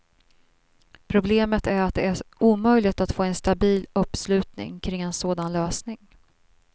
Problemet är att det är omöjligt att få en stabil uppslutning kring en sådan lösning.